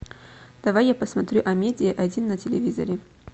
давай я посмотрю амедиа один на телевизоре